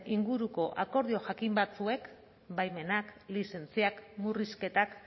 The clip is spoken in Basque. inguruko akordio jakin batzuek baimenak lizentziak murrizketak